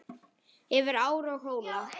Yfir ár og hóla.